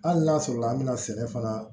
Hali n'a sɔrɔ la an bɛ na sɛnɛ fana